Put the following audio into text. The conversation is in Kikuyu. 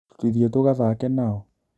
Tũthiĩ tũgathake nao